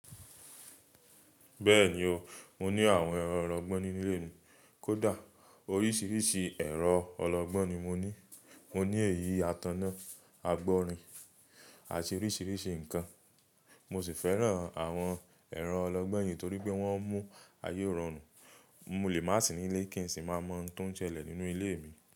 Bẹ́ẹ̀ni o, mo ní àwọn ọlọ́gbọ́n ni ile mi kódà oríṣiríṣi ẹ̀rọ ọlọgbọ́n ni mo ní. Mo ní èyí àtàná, àgb'orìn àti oríṣiríṣi nǹkan. Mo sì fẹ́ràn àwọn ẹ̀rọ ọlọgbọ́n yìí torí pé wọ́n mú ayé rọrùn. Mo lè má sì nílé kí n sì máa mọ ohun tó ń ṣẹlẹ̀ nínú ilé mi.